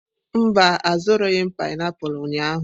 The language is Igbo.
Mba, azụrụghị m painiapulu ụnyahụ.